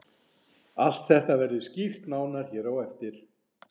Allt þetta verður skýrt nánar hér á eftir.